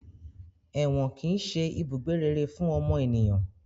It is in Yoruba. Èwọ̀n kìí ṣe ibùgbé rere fún ọmọ ènìyàn